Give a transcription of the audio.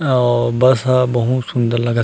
अउ बस ह बहुत सुन्दर लगत--